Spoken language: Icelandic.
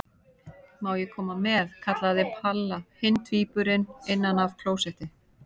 Má ég koma með? kallaði Palla hinn tvíburinn innan af klósetti.